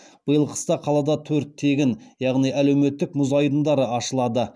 биыл қыста қалада төрт тегін яғни әлеуметтік мұз айдындары ашылады